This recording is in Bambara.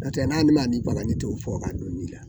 n'o tɛ ne t'o fɔ ka don nin la